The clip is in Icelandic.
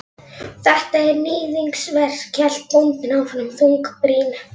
Þetta er. níðingsverk, hélt bóndinn áfram þungbrýnn.